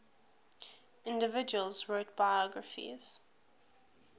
individuals wrote biographies